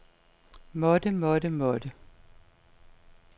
måtte måtte måtte